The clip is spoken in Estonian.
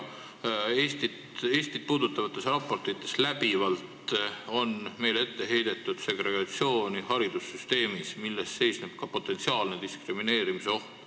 Eestit puudutavates raportites on meile läbivalt ette heidetud segregatsiooni haridussüsteemis, milles peitub ka potentsiaalne diskrimineerimise oht.